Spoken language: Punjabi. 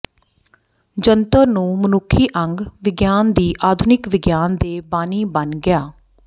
ਜੰਤਰ ਨੂੰ ਮਨੁੱਖੀ ਅੰਗ ਵਿਗਿਆਨ ਦੀ ਆਧੁਨਿਕ ਵਿਗਿਆਨ ਦੇ ਬਾਨੀ ਬਣ ਗਿਆ